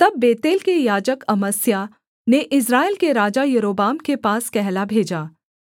तब बेतेल के याजक अमस्याह ने इस्राएल के राजा यारोबाम के पास कहला भेजा